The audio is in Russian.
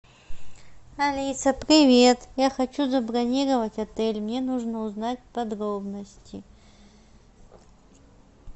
алиса привет я хочу забронировать отель мне нужно узнать подробности